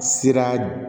Sira